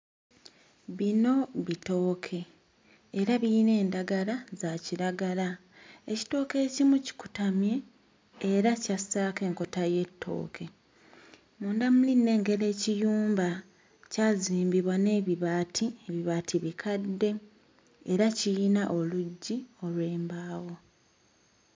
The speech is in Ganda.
Bino bitooke era birina endagala za kiragala. Ekitooke ekimu kikutamye era kyassaako enkota y'ettooke. Munda muli nnengera ekiyumba kyazimbibwa n'ebibaati, ebibaati bikadde era kirina oluggi olw'embaawo.